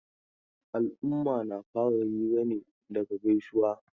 Al'umma na fara hira ne daga gaisuwa.